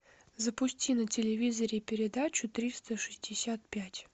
запусти на телевизоре передачу триста шестьдесят пять